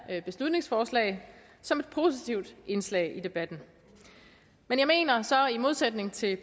her beslutningsforslag som et positivt indslag i debatten men jeg mener så i modsætning til